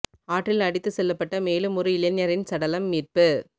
ஆற்றில் அடித்து செல்லப்பட்ட மேலும் ஒரு இளைஞரின் சடலம் மீட்பு